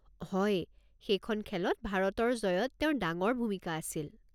হয়, সেইখন খেলত ভাৰতৰ জয়ত তেওঁৰ ডাঙৰ ভূমিকা আছিল।